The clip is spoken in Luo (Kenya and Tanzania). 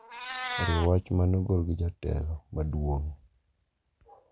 oriwo wach ma ne ogol gi Jatelo maduong`,